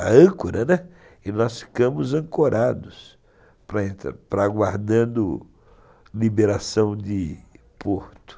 a âncora, né, e nós ficamos ancorados para aguardar a liberação de Porto.